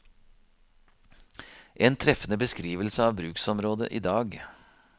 En treffende beskrivelse av bruksområdet i dag.